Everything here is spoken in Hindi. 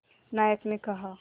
नायक ने कहा